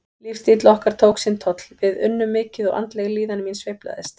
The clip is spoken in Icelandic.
Lífsstíll okkar tók sinn toll, við unnum mikið og andleg líðan mín sveiflaðist.